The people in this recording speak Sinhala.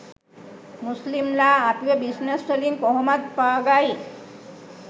මුස්ලිම් ලා අපිව බිස්නස් වලින් කොහොමත් පාගයි